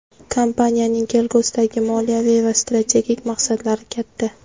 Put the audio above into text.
Kompaniyaning kelgusidagi moliyaviy va strategik maqsadlari katta.